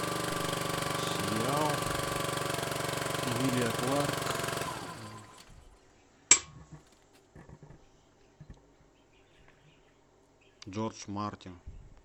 сериал эмилия кларк джордж мартин